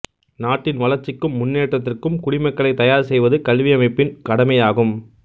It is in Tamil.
நாட்டின் வளர்ச்சிக்கும் முன்னேற்றத்திக்கும் குடிமக்களை தயார் செய்வது கல்வியமைப்பின் கடமையாகும்